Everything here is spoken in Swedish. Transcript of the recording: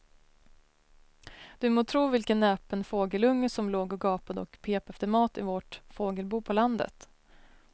Du må tro vilken näpen fågelunge som låg och gapade och pep efter mat i vårt fågelbo på landet.